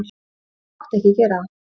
Þú mátt ekki gera það.